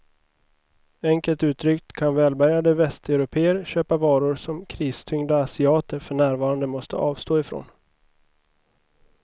Enkelt uttryckt kan välbärgade västeuropéer köpa varor som kristyngda asiater för närvarande måste avstå ifrån.